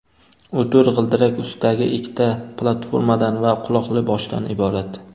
U to‘rt g‘ildirak ustidagi ikkita platformadan va quloqli boshdan iborat.